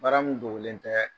Baara mun dogolen tɛ.